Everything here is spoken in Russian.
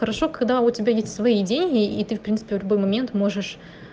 хорошо когда у тебя есть свои деньги и ты в принципе в любой момент можешь